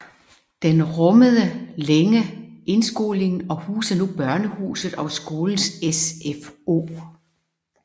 Den rummede længe indskolingen og huser nu Børnehuset og skolens SFO